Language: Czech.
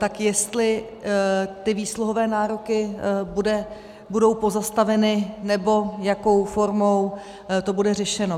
Tak jestli ty výsluhové nároky budou pozastaveny, nebo jakou formou to bude řešeno.